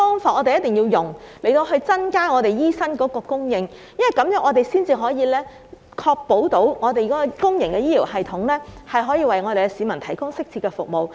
我們要用不同的方法增加醫生的供應，這樣才能確保公營醫療系統可以為市民提供適切的服務。